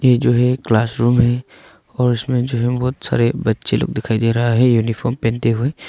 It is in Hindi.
यह जो है क्लासरूम है और उसमें जो बहुत सारे बच्चे लोग दिखाई दे रहा है यूनिफॉर्म पहनते हुए।